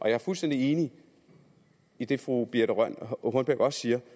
jeg er fuldstændig enig i det fru birthe rønn hornbech også siger